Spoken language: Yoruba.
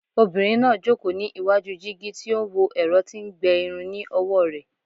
Obinrin naa joko ni iwaju jigi ti o n wo ẹrọ ti n gbẹ irun ni ọwọ rẹ